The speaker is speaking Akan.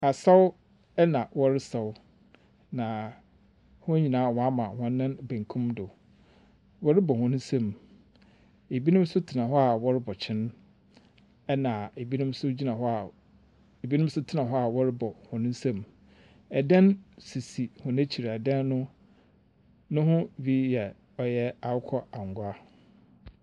Asaw na wɔresaw. Na wɔn nyinaa ama wɔn nan benkum do. Wɔrebɔ wɔn nsɛm. Ebinom nso tena hɔ a wɔrebɔ kyene. Na ebi nso tena hɔ a wɔrebɔ wɔn nsɛm. Ɛdan sisi wɔn akyire. Ɛdan no ho bi yɛ ɔyɛ akokɔangwa.